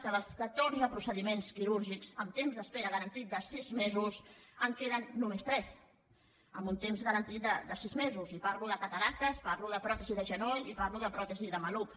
que dels catorze procediments quirúrgics amb temps d’espera garantit de sis mesos en queden només tres amb un temps garantit de sis mesos i parlo de cataractes parlo de pròtesi de genoll i parlo de pròtesi de maluc